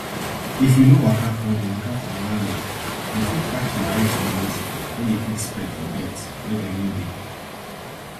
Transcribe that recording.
if you no waka or dey waka on one leg you fit catch mareks disease wey dey quick spread for birds wey dem no dey